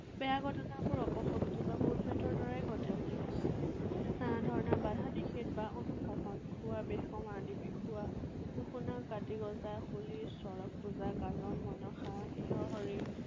বেয়া ঘটনাবোৰ অপশক্তি বা ভূত প্ৰেতৰ বাবে ঘটে বুলি বিশ্বাস। এনে ধৰণৰ বাধা নিষেধ বা অনুশাসন, উখনা, হোলী, ছড়ক পূজা, গাজন, মনসা, বৃহহৰি